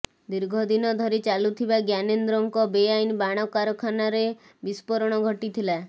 ଦୀର୍ଘ ଦିନ ଧରି ଚାଲୁଥିବା ଜ୍ଞାନେନ୍ଦ୍ରଙ୍କ ବେଆଇନ ବାଣ କାରଖାନାରେ ବିସ୍ଫୋରଣ ଘଟିଥିଲା